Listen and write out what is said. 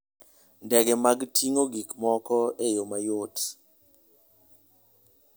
Ndege mag ting'o gik moko e yo mayot.